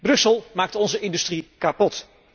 Brussel maakt onze industrie kapot.